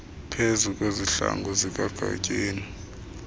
pheze kwezihlangu zikagatyeni